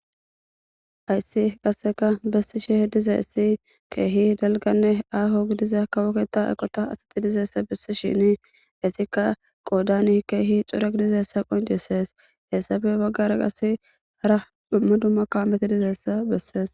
hayssi qasseka bessisheh dizayssi keehi dalganne aaho gidiza kawoketa eqota asati dizeessa bissi shini esikka qoodani keehi cura gidizeessa qoncisees hessabe baggara qasse hara dhumma dummaka meti dizeessa bessees